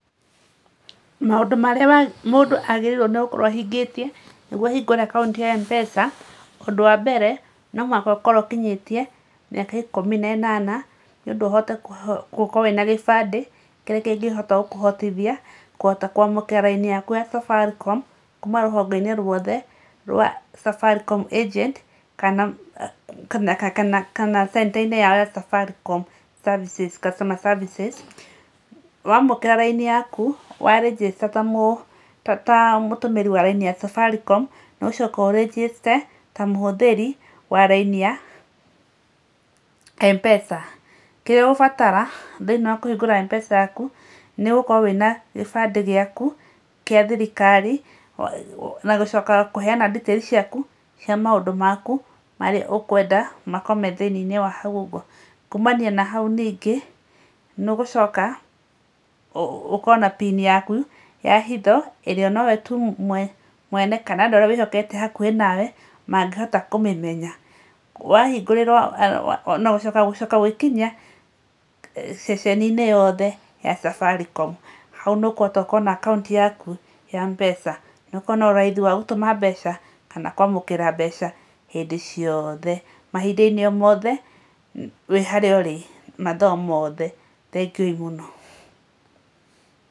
Maũndũ marĩa mũndũ agĩrĩirwo nĩ gũkorwo ahingĩtie nĩguo ahingũre akaunti ya Mpesa, ũndũ wa mbere no mũhaka ũkorwo ũkinyĩtie mĩaka ĩkũmi na ĩnana nĩ ũndũ ũhote gũkorwo wĩna gĩbandĩ kĩrĩa kĩngĩkũhotithia kũhota kwamũkĩra raini yaku ya Safaricom kuma rũhonge-inĩ ruothe rwa Safaricom agent kana kana center yao ya Safaricom customer services. Waamũkĩra raini yaku wa register ta mũtũmĩri wa raini ya Safaricom nĩ ũgũcoka ũ register ta mũhũthĩri wa raini ya Mpesa. Kĩrĩa ũgũbatara thĩiniĩ wa kũhingũra Mpesa yaku nĩ gũkorwo wĩna gĩbandĩ gĩaku gĩa thirikari na gũcoka kũheyana details ciaku cia maũndũ maku marĩa ũkwenda makorwo me thĩiniĩ-inĩ wa hau ũguo. Kũmania na hau ningĩ nĩũgũcoka ũkorwo na pin yaku ya hitho ĩrĩa nowe tu mwene kana andũ arĩa wĩhokete hakuhĩ nawe mangĩhota kũmĩmenya. Wahingũrĩrwo nagũcoka gũcoka gwĩkinyia ceceni-inĩ yothe ya Safaricom, hau nĩ ũkũhota gũkorwo na akaunti yaku ya Mpesa na ũkorwo na ũraithi wa gũtũma mbeca kana kwamũkĩra mbeca hĩndĩ ciothe, mahĩnda-inĩ o mothe wĩharĩa ũrĩ, mathaa o mothe. Thengiũĩ mũno.